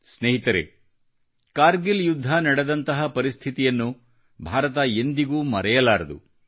ಸ್ನೇಹಿತರೆ ಕಾರ್ಗಿಲ್ ಯುದ್ಧ ನಡೆದಂತಹ ಪರಿಸ್ಥಿತಿಯನ್ನು ಭಾರತ ಎಂದಿಗೂ ಮರೆಯಲಾರದು